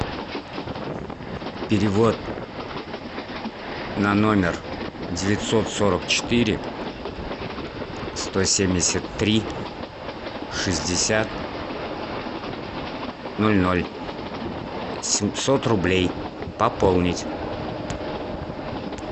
перевод на номер девятьсот сорок четыре сто семьдесят три шестьдесят ноль ноль семьсот рублей пополнить